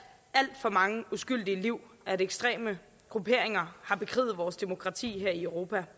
alt for mange uskyldige liv at ekstreme grupperinger har bekriget vores demokrati her i europa